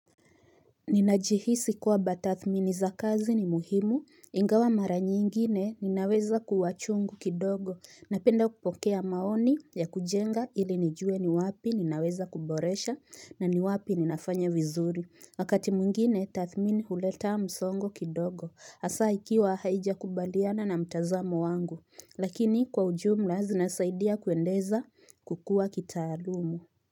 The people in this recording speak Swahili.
Ninajihisi kuwa batathmini za kazi ni muhimu ingawa mara nyingine ninaweza kuwachungu kidogo Napenda kupokea maoni ya kujenga ili nijue ni wapi ninaweza kuboresha na ni wapi ninafanya vizuri Wakati mwingine tathmini huleta msongo kidogo asa ikiwa haijakubaliana na mtazamo wangu Lakini kwa ujumla zinasaidia kuendeza kukua kitaalumu.